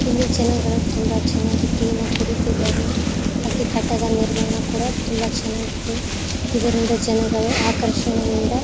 ಇಲ್ಲಿ ಜನಗಳು ತುಂಬಾ ಚೆನ್ನಾಗಿ ಟೀನ ಕುಡೀತಿದ್ದಾರೆ ಹಾಗೆ ಕಟ್ಟಡ ನಿರ್ಮಾಣ ಕೂಡ ತುಂಬಾ ಚೆನ್ನಾಗಿದೆ ಇದರಿಂದ ಜನಗಳು ಆಕಷರ್ಣೆಯಿಂದ--